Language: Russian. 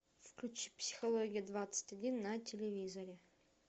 включи психология двадцать один на телевизоре